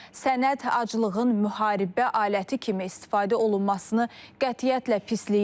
Sənəd aclığın müharibə aləti kimi istifadə olunmasını qətiyyətlə pisləyir.